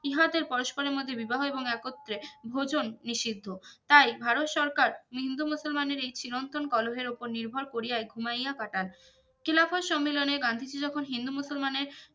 ইহাদের পরস্পরের মধ্যে বিবাহ এবং একত্রে ভজন নিষিদ্ধ তাই ভারত সরকার হিন্দুমুসলমানের এই চিরন্তন কোলোহের ওপর নির্ভর করিয়াই ঘুমাইয়া কাটান খিলাফত সম্মেলনে গান্ধীজি যখন হিন্দুমুসলমানের